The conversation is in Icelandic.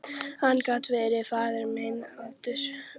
Hann gat verið faðir minn aldursins vegna.